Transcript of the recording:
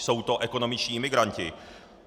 Jsou to ekonomičtí imigranti.